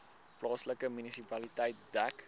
plaaslike munisipaliteit dek